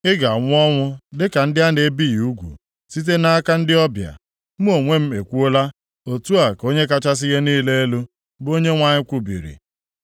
Ị ga-anwụ ọnwụ dịka ndị a na-ebighị ugwu, site nʼaka ndị ọbịa. Mụ onwe m ekwuola, otu a ka Onye kachasị ihe niile elu, bụ Onyenwe anyị kwubiri.’ ”